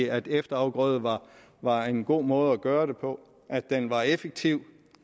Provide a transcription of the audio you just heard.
at efterafgrøder var var en god måde at gøre det på at den var effektiv